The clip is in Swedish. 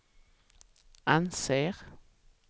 anser